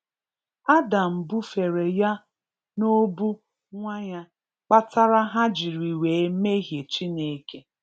Adam búfèrè yà n'óbù nwáńyà kpatárà hà jiri wé méhìé Chínèké